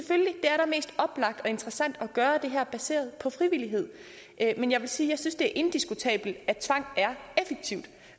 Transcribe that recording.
oplagt og interessant at gøre det her baseret på frivillighed men jeg vil sige at jeg synes det er indiskutabelt at tvang er effektivt